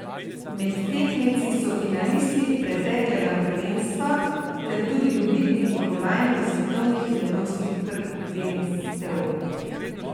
Med tekmeci so finalisti preteklega prvenstva ter tudi dobitniki kolajn s svetovnih in evropskih prvenstev.